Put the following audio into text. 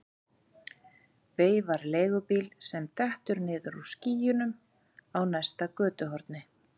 Veifar leigubíl sem dettur niður úr skýjunum á næsta götuhorni.